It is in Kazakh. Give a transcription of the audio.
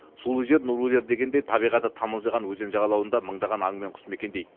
сулы жер нұрлы жер дегендей табиғаты тамылжыған өзен жағалауында мыңдаған аң мен құс мекендейді